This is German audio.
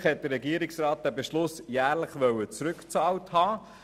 Ursprünglich forderte der Regierungsrat, dass der Beschluss jährlich zurückbezahlt wird.